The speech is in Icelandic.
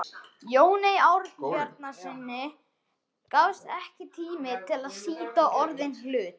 Jóni Ásbjarnarsyni gafst ekki tími til að sýta orðinn hlut.